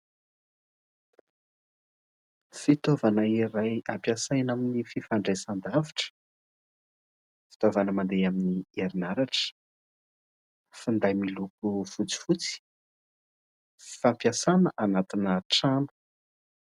Fitaovana iray ampiasaina amin'ny fifandraisan-davitra, fitaovana mandeha amin'ny herinaratra, finday miloko fotsifotsy fampiasana anatina trano.